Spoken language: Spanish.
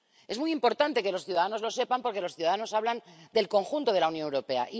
Es muy importante que los ciudadanos lo sepan, porque los ciudadanos hablan del conjunto de la Unión Europea.